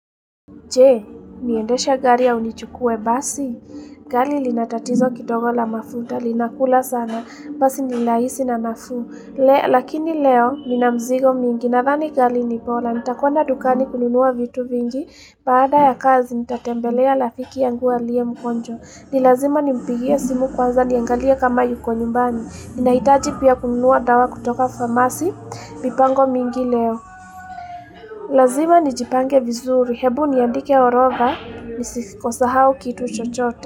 Je, niendesha gari au nichukue basi. Gari lina tatizo kidogo la mafuta, linakula sana, basi ni laisi na nafuu. Lakini leo, nina mzigo mingi. Nadhani gari ni bola, nitakwenda dukani kununua vitu vingi. Baada ya kazi, nitatembelea lafiki yangu alie mgonjwa. Ni lazima nimpigie simu kwanza, niangalie kama yuko nyumbani. Ninahitaji pia kununua dawa kutoka famasi, mipango mingi leo. Lazima nijipange vizuri, hebu niandike orodha, nisikosahau kitu chochote.